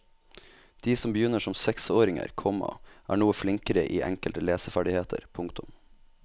De som begynner som seksåringer, komma er noe flinkere i enkelte leseferdigheter. punktum